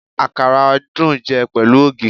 Àkàrà dùn jẹ pẹ̀lú ògì